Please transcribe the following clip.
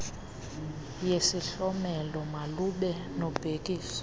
yesihlomelo malube nobhekiso